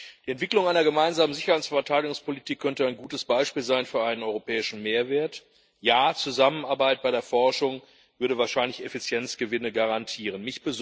Die Entwicklung einer gemeinsamen Sicherheits und Verteidigungspolitik könnte ein gutes Beispiel sein für einen europäischen Mehrwert. Ja, Zusammenarbeit bei der Forschung würde wahrscheinlich Effizienzgewinne garantieren.